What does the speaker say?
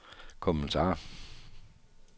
kommentar